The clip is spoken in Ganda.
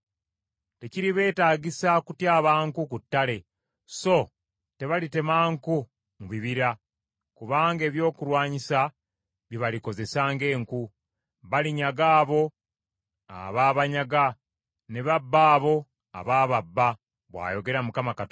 Tekiribeetaagisa kutyaba nku ku ttale so tebalitema nku mu bibira, kubanga ebyokulwanyisa bye balikozesa ng’enku. Balinyaga abo abaabanyaga, ne babba abo abaababba, bw’ayogera Mukama Katonda.